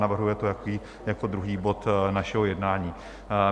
Navrhuje to jako druhý bod našeho jednání.